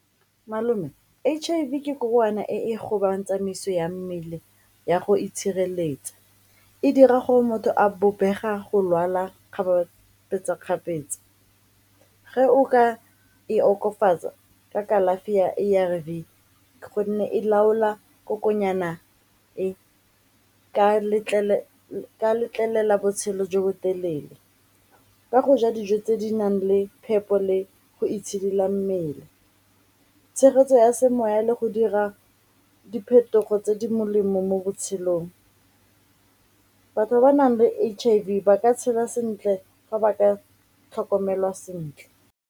Malome H_I_V ke e e gobang tsamaiso ya mmele ya go itshireletsa, e dira gore motho a go lwala kgapetsa-kgapetsa, ge o ka e okofatsa ka kalafi ya A_R_V gonne e laola kokonyana e ka letlelela botshelo jo bo telele ka go ja dijo tse di nang le phepo le go itshidila mmele, tshegetso ya semoya le go dira diphetogo tse di molemo mo botshelong. Batho ba ba nang le H_I_V ba ka tshela sentle fa ba ka tlhokomelwa sentle.